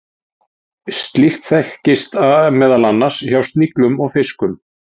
slíkt þekkist meðal annars hjá sniglum og fiskum